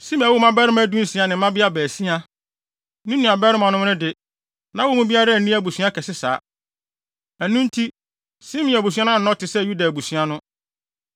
Simei woo mmabarima dunsia ne mmabea baasia. Ne nuabarimanom de, na wɔn mu biara nni abusua kɛse saa. Ɛno nti, Simeon abusua annɔ te sɛ Yuda abusua no.